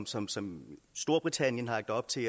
som som storbritannien har lagt op til